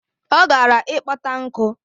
Ọ gara ịkpata nkụ